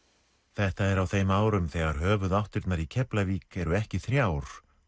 þetta er á þeim árum þegar höfuðáttirnar í Keflavík eru ekki þrjár